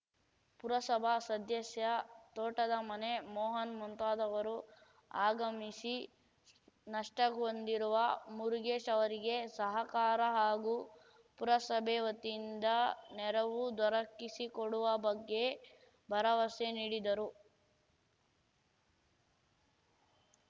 ಪುರಸಭಾ ಸದ್ದ್ಯಸ್ಯ ತೋಟದ ಮನೆ ಮೋಹನ್‌ ಮುಂತಾದವರು ಆಗಮಿಸಿ ನಷ್ಟಹೊಂದಿರುವ ಮುರುಗೇಶ್‌ ಅವರಿಗೆ ಸಹಕಾರ ಹಾಗು ಪುರಸಭೆ ವತಿಯಿಂದ ನೆರವು ದೊರಕಿಸಿಕೊಡುವ ಬಗ್ಗೆ ಭರವಸೆ ನೀಡಿದರು